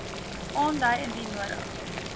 aandui indien nodig